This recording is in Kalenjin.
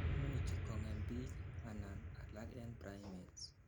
imuch kongem biik an alak en primates